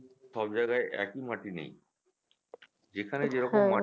সব জায়গায় একই মাটি নেই যেখানে যেরকম মাটি